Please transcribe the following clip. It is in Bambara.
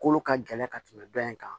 Kolo ka gɛlɛn ka tɛmɛ dɔ in kan